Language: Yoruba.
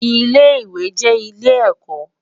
Ilé iwé jè ilé èkò